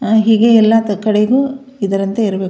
ಆ ಹೀಗೆ ಎಲ್ಲ ಕೊಠಡಿಗೂ ಯಾವುದ್ಯಾವುದೋ ಇದರಂತೆ ಇರಬೇಕು.